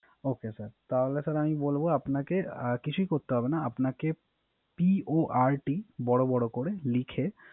Ok sir তাহলে sir আমি বলবো আপনাকে কিছুই করতে হবে না। আপনাকে PORT বড় বড় করে লিখে